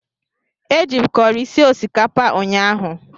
Eji m kọrị sie osikapa ụnyahụ.